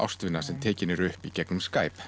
ástvina sem tekin eru upp í gegnum Skype